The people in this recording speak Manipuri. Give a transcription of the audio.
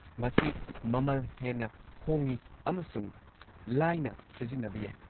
ꯃꯁꯤ ꯃꯃꯜ ꯍꯦꯟꯅ ꯍꯣꯡꯉꯤ ꯑꯃꯁꯨꯡ ꯂꯥꯏꯅ ꯁꯤꯖꯤꯟꯅꯕ ꯌꯥꯏ꯫